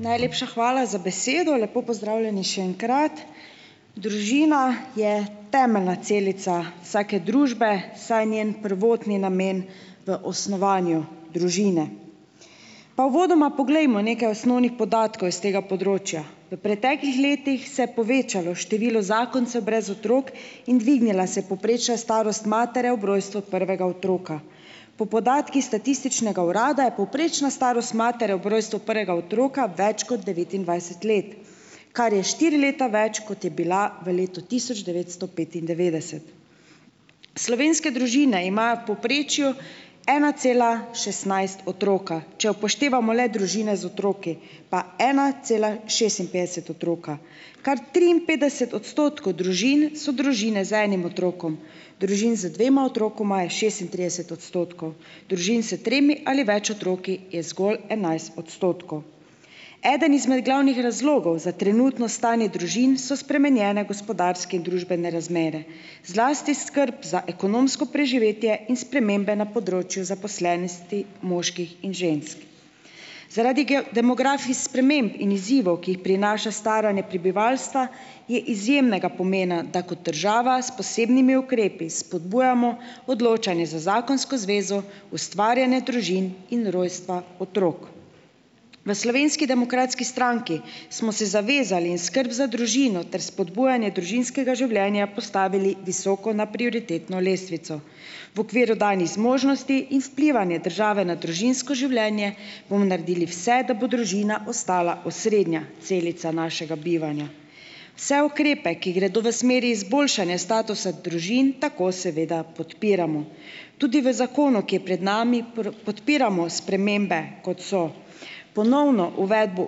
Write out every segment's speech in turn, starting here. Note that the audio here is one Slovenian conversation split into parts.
Najlepša hvala za besedo. Lepo pozdravljeni še enkrat. Družina je temeljna celica vsake družbe, saj njen prvotni namen v osnovanju družine. Pa uvodoma poglejmo nekaj osnovnih podatkov iz tega področja. V preteklih letih se je povečalo število zakoncev brez otrok in dvignila se je povprečna starost matere ob rojstvu prvega otroka. Po podatkih statističnega urada je povprečna starost matere ob rojstvu prvega otroka več kot devetindvajset let, kar je štiri leta več, kot je bila v letu tisoč devetsto petindevetdeset. Slovenske družine imajo v povprečju ena cela šestnajst otroka, če upoštevamo le družine z otroki, pa ena cela šestinpetdeset otroka. Kar triinpetdeset odstotkov družin so družine z enim otrokom. Družin z dvema otrokoma je šestintrideset odstotkov. Družin s tremi ali več otroki je zgolj enajst odstotkov. Eden izmed glavnih razlogov za trenutno stanje družin so spremenjene gospodarske in družbene razmere, zlati skrb za ekonomsko preživetje in spremembe na področju zaposlenosti moških in žensk. Zaradi demografskih sprememb in izzivov, ki jih prinaša staranje prebivalstva, je izjemnega pomena, da kot država s posebnimi ukrepi spodbujamo odločanje za zakonsko zvezo, ustvarjanje družin in rojstva otrok. V Slovenski demokratski stranki smo se zavezali in skrb za družino ter spodbujanje družinskega življenja postavili visoko na prioritetno lestvico. V okviru danih zmožnosti in vplivanje države na družinsko življenje bomo naredili vse, da bo družina ostala osrednja celica našega bivanja. Vse ukrepe, ki gredo v smeri izboljšanja statusa družin tako seveda podpiramo. Tudi v zakonu, ki je pred nami, podpiramo spremembe, kot so ponovna uvedba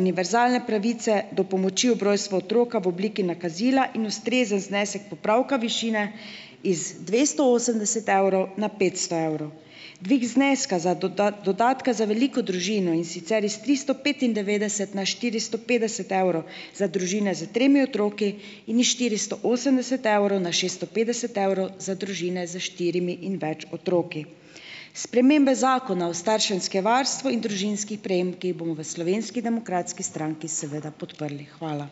univerzalne pravice do pomoči ob rojstva otroka v obliki nakazila in ustrezen znesek popravka višine iz dvesto osemdeset evrov na petsto evrov. Dvig zneska za dodatka za veliko družino, in sicer iz tristo petindevetdeset na štiristo petdeset evrov za družine s tremi otroki in iz štiristo osemdeset evrov na šeststo petdeset evrov za družine s štirimi in več otroki. Spremembe Zakona o starševskem varstvu in družinskih prejemkih bomo v Slovenski demokratski stranki seveda podprli. Hvala.